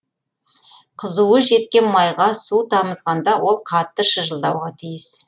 қызуы жеткен майға су тамызғанда ол қатты шыжылдауға тиіс